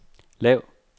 lav